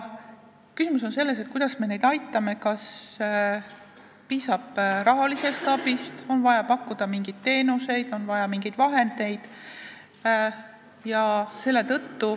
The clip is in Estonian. Küsimus on selles, kuidas me neid aitame, kas piisab rahalisest abist, kas on vaja pakkuda mingeid teenuseid, kas on vaja mingeid vahendeid.